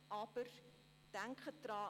Aber denken Sie daran: